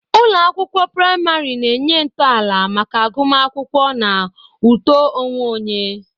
Ụlọ akwụkwọ praịmarị na-enye ntọala maka agụmakwụkwọ na uto onwe onye.